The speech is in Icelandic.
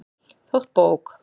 Þótt bók